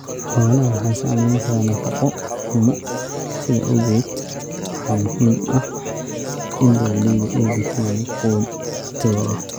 Xoolaha waxa saamayn kara nafaqo xumo, sidaa awgeed waxa muhiim ah in beeralayda ay bixiyaan quud tayo leh.